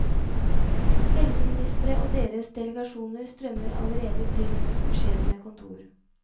Helseministre og deres delegasjoner strømmer allerede til hennes beskjedne kontor.